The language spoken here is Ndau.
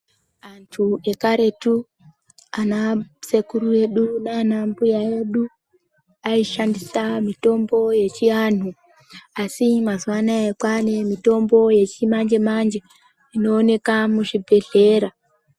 Vantu yekaretu ana sekuru edu nana mbuya edu ayishandisa mitombo yechiantu asi mazuvaano aya kwava nemitombo wechimanje manje inowanikwa muzvibhedhlera.